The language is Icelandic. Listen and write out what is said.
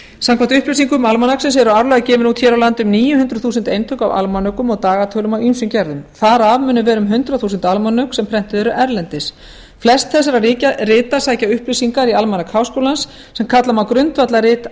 samkvæmt upplýsingum almanaksins eru árlega gefin út hér á landi um níu hundruð þúsund eintök af almanökum og dagatölum af ýmsum gerðum þar af munu vera um hundrað þúsund almanök sem prentuð eru erlendis flest þessara rita sækja upplýsingar í almanak háskólans sem kalla má grundvallarrit